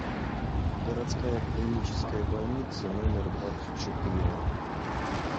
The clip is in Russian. городская клиническая больница номер двадцать четыре